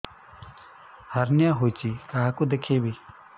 hernia ହୋଇଛି କାହାକୁ ଦେଖେଇବି